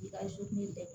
I ka kɛ